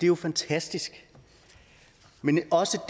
jo fantastisk men også